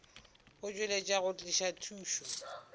go tšweletša go tliša thušo